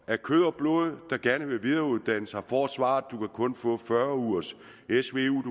af kød og blod der gerne vil videreuddanne sig får svaret du kan kun få fyrre ugers